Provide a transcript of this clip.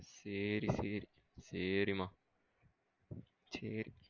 சேரி சேரி சேரிமா சேரி.